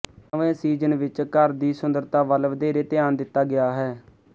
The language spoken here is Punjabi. ਨਵੇਂ ਸੀਜ਼ਨ ਵਿੱਚ ਘਰ ਦੀ ਸੁੰਦਰਤਾ ਵੱਲ ਵਧੇਰੇ ਧਿਆਨ ਦਿੱਤਾ ਗਿਆ ਹੈ